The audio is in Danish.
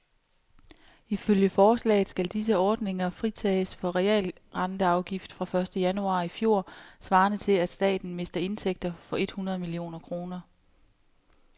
Ifølge forslaget skal disse ordninger fritages for realrenteafgift fra første januar i fjor , svarende til at staten mister indtægter for et hundrede millioner kroner.